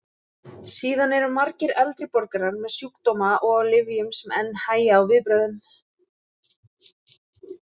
Síðan eru margir eldri borgarar með sjúkdóma og á lyfjum sem enn hægja á viðbrögðum.